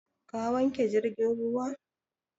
Ka wanke jirgin ruwan?